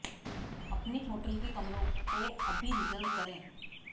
अपने होटल के कमरों को अभी रिजर्व करें